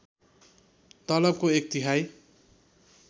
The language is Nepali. तलबको एक तिहाई